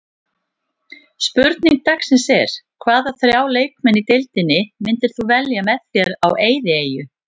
Spurning dagsins er: Hvaða þrjá leikmenn í deildinni myndir þú velja með þér á eyðieyju?